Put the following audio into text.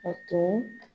A tun